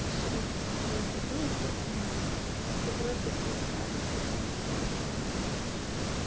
решили это всё бросить ну естественно кто бросит тот скажет через месяц да ничего не меняется